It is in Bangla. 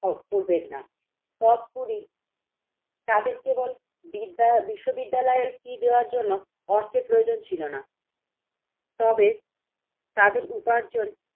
করবেন না তত কুড়ি তাদের কেবল বিদ্যা বিশ্ব বিদ্যালয়ের ফী দেওয়ার জন্য অর্থের প্রয়োজন ছিল না। তবে তাদের উপার্জন